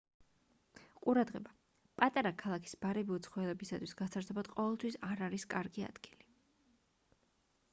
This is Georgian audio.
ყურადღება პატარა ქალაქის ბარები უცხოელებისთვის გასართობად ყოველთვის არ არის კარგი ადგილი